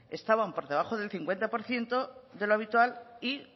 estaban por debajo del cincuenta por ciento de lo habitual y